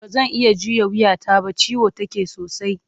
Ba zan iya juya wuyata ba, ciwo take sosai.